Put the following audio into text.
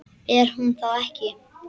Er hún þá ekki.?